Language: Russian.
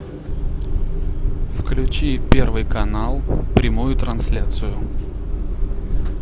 включи первый канал прямую трансляцию